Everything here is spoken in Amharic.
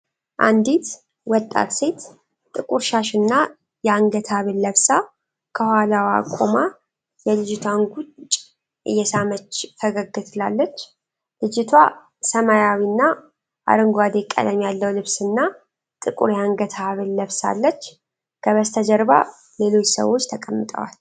አንዲት ወጣት ሴት ጥቁር ሻሽና የአንገት ሐብል ለብሳ ከኋላዋ ቆማ የልጅቷን ጉንጭ እየሳመች ፈገግ ትላለች። ልጅቷ ሰማያዊና አረንጓዴ ቀለም ያለው ልብስና ጥቁር የአንገት ሐብል ለብሳለች። ከበስተጀርባ ሌሎች ሰዎች ተቀምጠዋል።